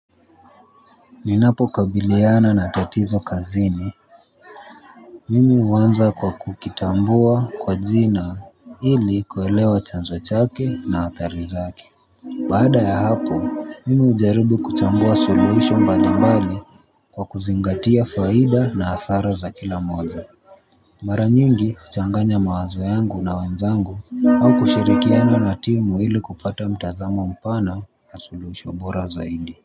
Ninapo kabiliana na tatizo kazini. Mimi huanza kwa kukitambua kwa jina ili kuelewa chanzo chake na athari zake. Baada ya hapo mimi hujaribi kuchambua suluhisho mbalimbali kwa kuzingatia faida na hasara za kila moja. Mara nyingi huchanganya mawazo yangu na wenzangu au kushirikiana na timu ili kupata mtazamo mpana na suluhisho bora zaidi.